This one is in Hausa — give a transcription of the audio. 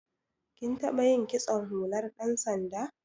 Kin taɓa yin kitson hular ɗan sanda.